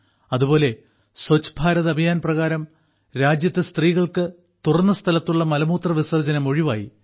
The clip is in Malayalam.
അതുപോലെ സ്വച്ഛ് ഭാരത് അഭിയാൻ പ്രകാരം രാജ്യത്ത് സ്ത്രീകൾക്ക് തുറന്ന സ്ഥലത്തുള്ള മലമൂത്രവിസർജനം ഒഴിവായി